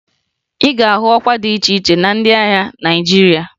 Ị ga-ahụ ọkwa dị iche iche na ndị agha Naịjirịa